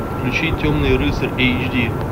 включи темный рыцарь эйч ди